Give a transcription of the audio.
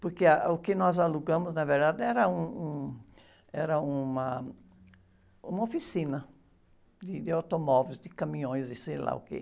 Porque, ah, o que nós alugamos, na verdade, era um, um, era uma, uma oficina de, de automóveis, de caminhões, de sei lá o quê.